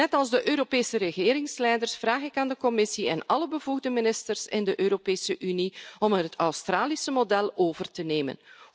Net als de Europese regeringsleiders, vraag ik aan de Commissie en alle bevoegde ministers in de Europese Unie om het Australische model over te nemen.